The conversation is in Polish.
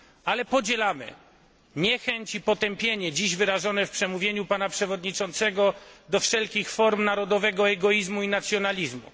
Ale podzielamy niechęć i potępienie dziś wyrażone w przemówieniu pana przewodniczącego do wszelkich form narodowego egoizmu i nacjonalizmu.